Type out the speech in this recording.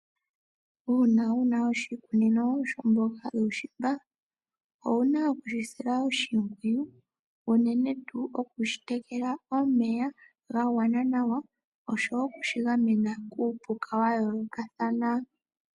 Una wuna oshikunino shomboga yuushimba, owuna okushi sila oshimpwiyu unene, okushi tekela omeya ga gwana nawa, oshowo okushi gamena kuupuka wa yoolokathana.